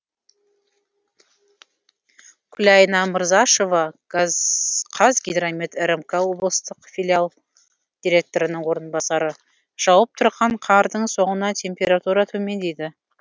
күлайна мырзашева қазгидромет рмк облыстық филиалы директорының орынбасары жауып тұрған қардың соңынан температура төмендейді